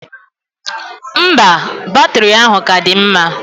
Mba, batiri ahụ ka dị mma.